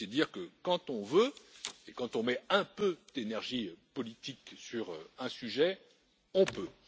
C'est dire que quand on veut et quand on met un peu d'énergie politique sur un sujet, on peut.